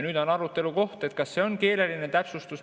Nüüd on arutelukoht, kas see on keeleline täpsustus.